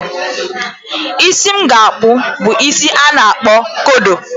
Isi m ga-akpụ bụ isi a na-akpọ kodo